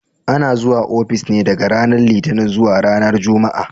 Ana zuwa ofis ne daga ranar Litinin zuwa ranar Juma'a.